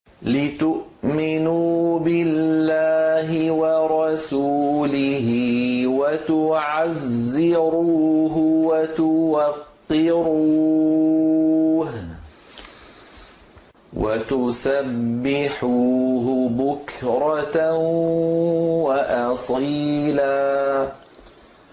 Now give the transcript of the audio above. لِّتُؤْمِنُوا بِاللَّهِ وَرَسُولِهِ وَتُعَزِّرُوهُ وَتُوَقِّرُوهُ وَتُسَبِّحُوهُ بُكْرَةً وَأَصِيلًا